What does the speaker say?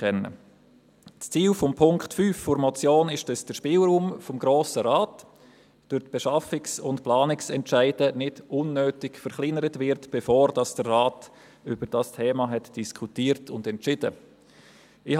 Das Ziel von Punkt 5 der Motion ist, den Spielraum des Grossen Rates durch die Beschaffungs- und Planungsentscheide nicht unnötig zu verkleinern, bevor er über dieses Thema diskutiert und entschieden hat.